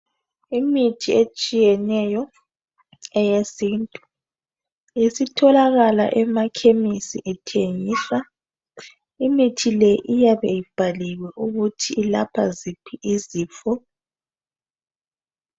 Imithi etshiyeneyo eyesintu isitholakala emakhimisi ethengiswa, imithi le iyabe ibhaliwe ukuthi ilapha ziphi izifo.